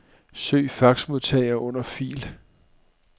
Søg faxmodtager under fil.